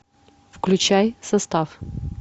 включай состав